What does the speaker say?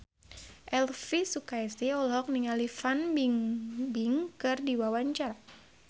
Elvi Sukaesih olohok ningali Fan Bingbing keur diwawancara